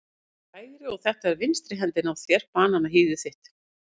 Þetta er hægri og þetta er vinstri hendin á þér, bananahýðið þitt.